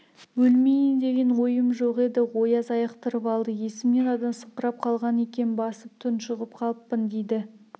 өлмейім деген ойым жоқ еді ояз айықтырып алды есімнен адасыңқырап қалған екем басып тұншығып қаппын дейді